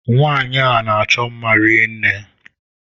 Nwanyi a n'achọ mma rinne.